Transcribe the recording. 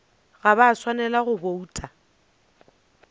ga ba swanela go bouta